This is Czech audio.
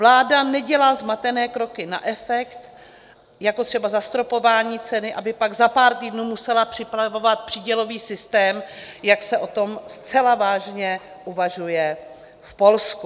Vláda nedělá zmatené kroky na efekt, jako třeba zastropování ceny, aby pak za pár týdnů musela připravovat přídělový systém, jak se o tom zcela vážně uvažuje v Polsku.